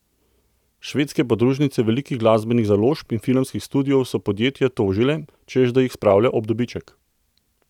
Švedske podružnice velikih glasbenih založb in filmskih studiov so podjetje tožile, češ da jih spravlja ob dobiček.